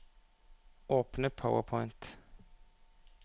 Åpne PowerPoint